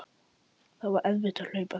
Það var erfitt að hlaupa hratt.